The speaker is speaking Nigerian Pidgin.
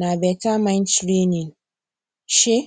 na better mind training um